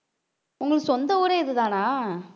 உங்களுக்கு சொந்த ஊரே இதுதானா